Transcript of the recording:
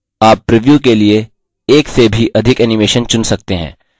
आप प्रिव्यू के लिए एक से भी अधिक animation चुन सकते हैं